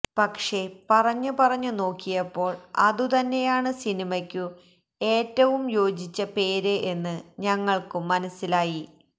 പക്ഷേ പറഞ്ഞുപറഞ്ഞുനോക്കിയപ്പോള് അതുതന്നെയാണ് സിനിമയ്ക്കു ഏറ്റവും യോജിച്ച പേര് എന്ന് ഞങ്ങള്ക്കും മനസ്സിലായി